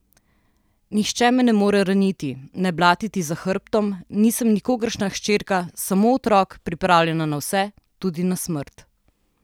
Nihče me ne more raniti, ne blatiti za hrbtom, nisem nikogaršnja hčerka, samo otrok, pripravljen na vse, tudi na smrt.